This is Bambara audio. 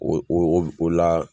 O o o o la